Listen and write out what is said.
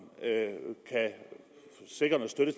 kan sikre noget støtte